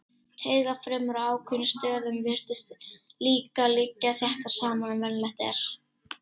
Taugafrumur á ákveðnum stöðum virtust líka liggja þéttar saman en venjulegt er.